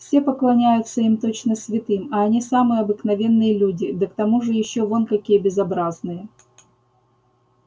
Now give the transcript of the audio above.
все поклоняются им точно святым а они самые обыкновенные люди да к тому же ещё вон какие безобразные